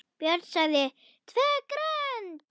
Björn sagði TVÖ GRÖND!